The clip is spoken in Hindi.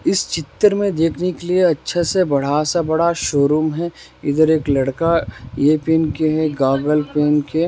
इस चित्र मे देखने के लिए अच्छा सा बड़ा सा बड़ा सा शोरूम है इधर एक लड़का यह पहन के है गॉगल पहन के--